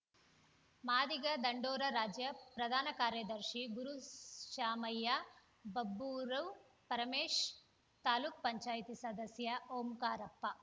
ಮಾದಿಗ ದಂಡೋರ ರಾಜ್ಯ ಪ್ರಧಾನ ಕಾರ್ಯದರ್ಶಿ ಗುರುಶಾಮಯ್ಯ ಬಬ್ಬೂರು ಪರಮೇಶ್‌ ತಾಲುಕು ಪಂಚಾಯತಿ ಸದಸ್ಯ ಓಂಕಾರಪ್ಪ